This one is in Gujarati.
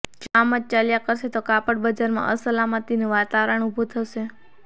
જો આમ જ ચાલ્યા કરશે તો કાપડ બજારમાં અસલામતીનુ વાતાવરણ ઉભુ થશે